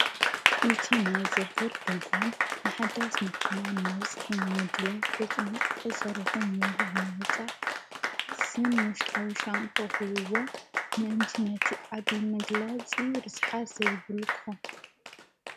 እቲ ናይ ዝርዝር ድጓን ንሓዳስ መኪናን ነዊሕ ምድላው በጥንቓቐ ሰሪሑ ምህላው መጻሕስን ሙሽጣዊ ሻምፓ ሂቡዎ ምእንቲ ነቲ ዓብይ መግለፂ ርስሓት ዘይብሉ ክኾን...